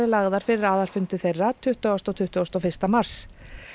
lagðar fyrir aðalfundi þeirra tuttugustu og tuttugasta og fyrsta mars